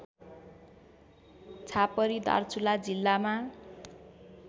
छापरि दार्चुला जिल्लामा